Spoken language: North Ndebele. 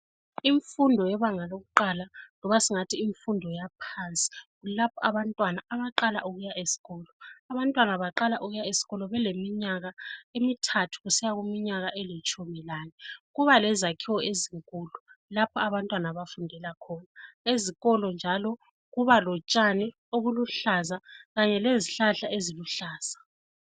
Imfundo yebanga lokuqala loba singathi imfundo yaphansi kulapho abantwana abaqala ukuya esikolo abantwana baqala ukuya esikolo beleminyaka emithathu kusiya kuminyaka elitshumi lane kuba lezakhiwo ezinkulu lapho abantwana abafundela khona esikolo njalo kuba lotshani obuluhlaza kanye lezihlahla eziluhlaza.